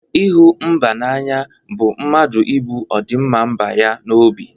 Ịhụ mba n'anya bụ mmadụ ibu ọdịmma mba ya n'obi.